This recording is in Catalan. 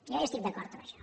jo hi estic d’acord en això